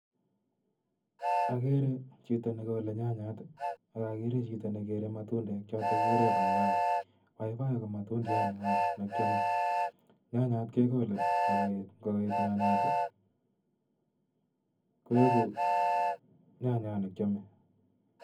agere chito negole nyanyat ,ak agere chito negere matundek choto chekikure paipai. paipai ko matundiat neo nikiamei . Nyanyat kegole akoet, ingoet nyanyat koegu nyanyat ne kiame.